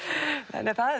það